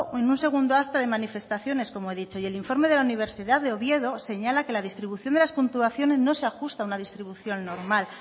en una segunda acta de manifestaciones como he dicho y el informe de la universidad de oviedo señala que la distribución de las puntuaciones no se ajusta a una distribución normal